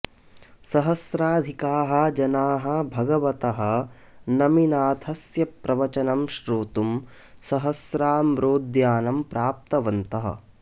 सहस्राधिकाः जनाः भगवतः नमिनाथस्य प्रवचनं श्रोतुं सहस्राम्रोद्यानं प्राप्तवन्तः